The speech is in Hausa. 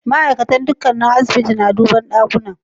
Ma'aikatan dakunan asibiti na duban dakunan.